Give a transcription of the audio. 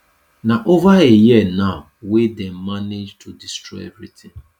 na over a year now wey dem manage to destroy evritin